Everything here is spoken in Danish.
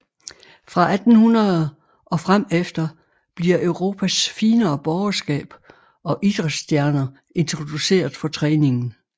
Fra 1800 og frem efter bliver Europas finere borgerskab og idræts stjerner introduceret for træningen